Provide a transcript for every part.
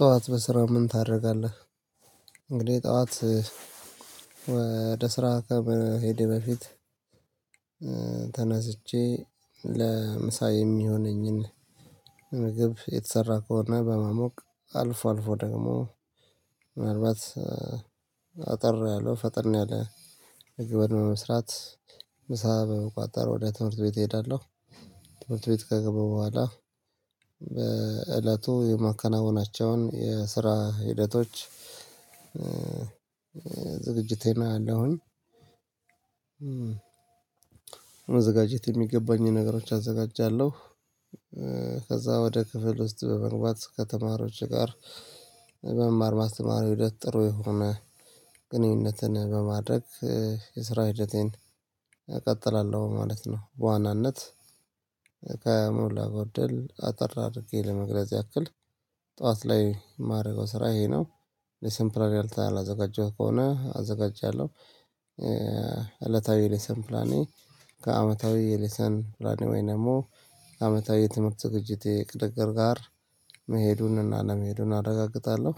ጠዋት በስራ ምን ታደርጋለህ? እንግዲህ ጠዋት ወደ ስራ ከመሄዴ በፊት። ተነስቼ ለምሳ የሚሆነኝን ምግብ የተሰራ ከሆነ በማሞቅ አልፎ አልፎ ደግሞ ምናልባት አጠር ያለው ፈጠን ያለ መግብን በመስራት ምሳ በመቋጠር ወደ ትምህርት ቤት እሄዳለሁ ትምህርት ቤት ከገባው በኋላ በእለቱ የማከናውናቸውን የስራ ሂደቶች። ዝግጅቴን አያለሁኝ። መዘጋጀት የሚገባኝን ነገሮች አዘጋጃለሁ። ከዛ ወደ ክፍል ውስጥ በመግባት ከተማሪዎች ጋር መማር ማስተማር ሂደት ጥሩ የሆነ ግንኙነትን በማድረግ የስራ ሂደቴን እቀጥላለሁ ማለት ነው። በዋናነት ከሞላ ጎደል አጠር አድርጌ ለመግለጽ ያክል ጠዋት ላይ ማድርገው ስራ ይሄ ነው። ሌሰን ፕላን ያልተ አላዘጋጀሁ ከሆነ አዘጋጃለሁ። እለታዊ ሌሰን ፕላኔ ከአመታዊ የሌሰን ፕላኔ ወይ ደግሞ አመታዊ የትምህርት ዝግጅቴ እቅድ ጋር መሄዱንና አለመሄዱን አረጋግጣለሁ።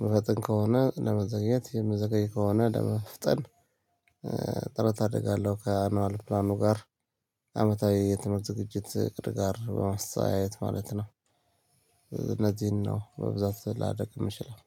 ሚፈጥን ከሆነ ለመዘግየት የምዘገይ ከሆነ ለመፍጠን ጥረት አደርጋለሁ። ከአንዋል ፕላኑ ጋር አመታዊ የትመርት ዝግጅት እቅድ ጋር በማስተያየት ማለት ነው። እነዚህን ነው በብዛት ላደርግ ምችለው